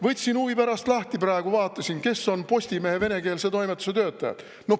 Võtsin huvi pärast lahti, praegu vaatasin, kes on Postimehe venekeelse toimetuse töötajad.